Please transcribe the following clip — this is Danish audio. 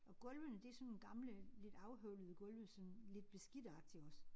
Og gulvene det sådan gamle lidt afhøvlede gulve sådan lidt beskidte agtig også